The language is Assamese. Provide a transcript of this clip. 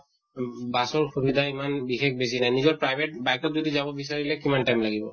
উম bus ৰ সিবিধা ইমান বিশেষ বেছি নাই। নিজৰ private bike ত যদি যাব বিচাঁৰিলে কিমান time লাগিব?